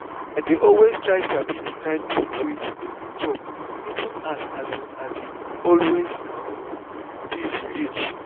i dey always try sabi the kind food wey u go dey chop even as um i dey always busy reach